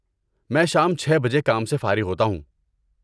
میں شام چھے بجے کام سے فارغ ہوتا ہوں